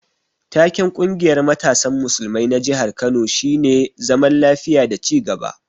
Taken ƙungiyar matasan musulmai na jihar Kano shine zaman lafiya da ci gaba.